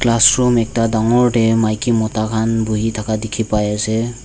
classroom ekta dangor tae maki mota khan buhi thaka dikhipaiase.